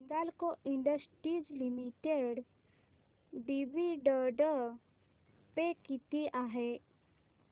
Hindalco industries limited dividend pay किती आहे